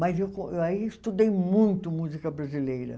Mas eu aí estudei muito música brasileira.